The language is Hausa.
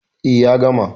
E, ya gama.